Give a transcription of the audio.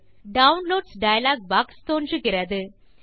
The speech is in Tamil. டவுன்லோட்ஸ் டயலாக் பாக்ஸ் தோன்றுகிறது